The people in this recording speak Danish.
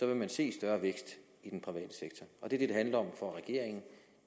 vil man se større vækst i den private sektor det det handler om for regeringen